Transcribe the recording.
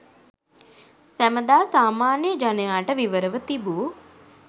සැමදා සාමාන්‍ය ජනයාට විවරව තිබූ